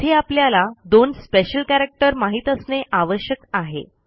येथे आपल्याला दोन स्पेशल कॅरॅक्टर माहित असणे आवश्यक आहे